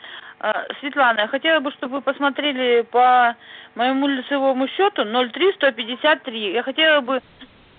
а светлана я хотела бы чтобы вы посмотрели по-моему лицевому счету ноль три сто пятьдесят три я хотела бы